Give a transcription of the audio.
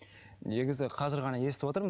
негізі қазір ғана естіп отырмын